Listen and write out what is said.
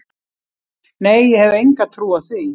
Nei ég hef enga trú á því.